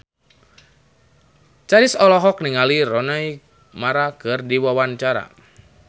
Chrisye olohok ningali Rooney Mara keur diwawancara